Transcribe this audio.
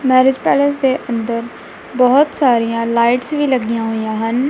Marriage palace ਦੇ ਅੰਦਰ ਬਹੁਤ ਸਾਰੀਆਂ ਲਾਈਟਸ ਵੀ ਲੱਗਿਆਂ ਹੋਈਆਂ ਹਨ।